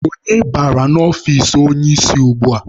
Onye banyere n'ọfici onye isi ugbua?